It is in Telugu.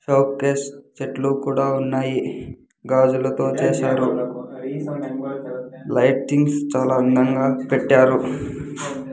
షోకేస్ చెట్లు కూడా ఉన్నాయి గాజులతో చేసారు లైటింగ్స్ చాలా అందంగా పెట్టారు .